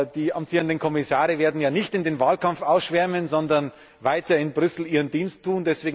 Die amtierenden Kommissare werden ja nicht in den Wahlkampf ausschwärmen, sondern weiter in Brüssel ihren Dienst tun.